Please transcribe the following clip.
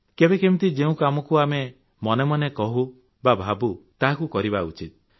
କେବେ କେମିତି ଯେଉଁ କାମକୁ ଆମେ ମନେ ମନେ କହୁ ବା ଭାବୁ ତାହାକୁ କରିବା ଉଚିତ୍